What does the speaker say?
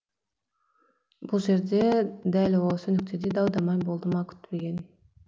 бұл жерде дәл осы нүктеде дау дамай болды ма күтпеген